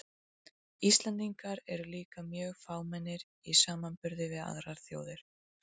Íslendingar eru líka mjög fámennir í samanburði við aðrar þjóðir.